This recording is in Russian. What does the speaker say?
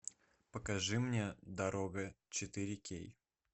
покажи мне дорога четыре кей